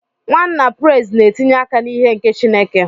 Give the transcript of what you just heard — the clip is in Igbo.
Nwanna Praise na-etinye aka n'ihe nke Chineke.